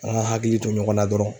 A' ka hakili to ɲɔgɔn na dɔrɔn.